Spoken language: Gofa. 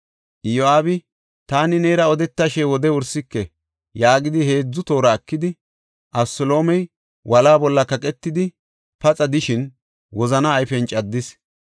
Iyo7aabi, “Taani neera odetashe wode wursike” yaagidi heedzu toora ekidi, Abeseloomey wolaa bolla kaqetidi, paxa de7ishin wozana ayfen caddis.